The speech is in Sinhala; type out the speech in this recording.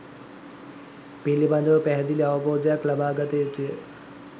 පිළිබඳව පැහැදිලි අවබෝධයක් ලබාගතයුතුය.